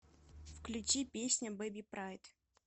включи песня бэби прайд